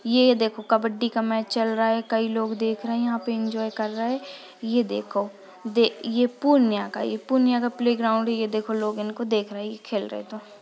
ये देखो कबड्डी का मैच चल रहा है कई लोग देख रहे है यहा पे एन्जॉय कर रहे है ये देखो ये पूर्णिया का है ये पूर्णिया का प्लेग्राउंड हैये देखो लोग इनको देख रहे है ये खेल रहे तो।